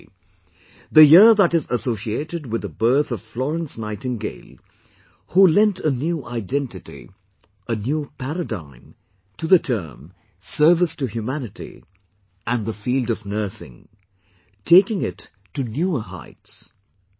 1820, the year that is associated with the birth of Florence Nightingale who lent a new identity, a new paradigm to the term 'Service to humanity' and the field of Nursing, taking it to newer heights